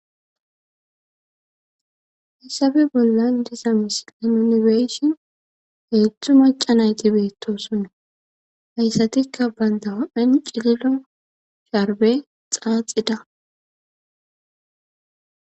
Hayisappe bolani diza misileni nu beishin hezdzdu macca nayiti betosona hesanikka banita hupheni cililo sharibe xaaxida